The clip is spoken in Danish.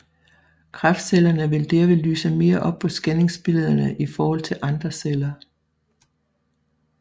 Kræftcellerne vil derved lyse mere op på scanningsbillederne i forhold til andre celler